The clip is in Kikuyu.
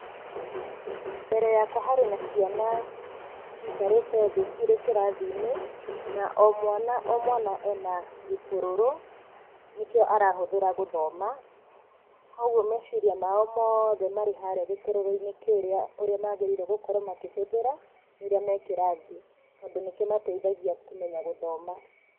Mbere yakwa harĩ na ciana cikarĩte thĩ cirĩ kĩrathi-inĩ, na o mwana, o mwana ena gĩtũrũrũ, nĩkĩo arahũthĩra gũthoma, koguo meciria mao mothe me harĩa gĩtũrũrũ-inĩ kĩrĩa ũrĩa mabatiĩ gũkorwo makĩhũthĩra, rĩrĩa me kĩrathi tondũ nĩ kĩmateithagia kũmenya gũthoma.